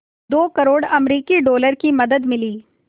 दो करोड़ अमरिकी डॉलर की मदद मिली